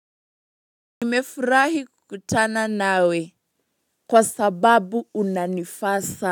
Nimefurahi kukutana nawe. Kwa sababu unanifaa sa.